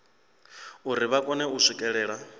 uri vha kone u swikelela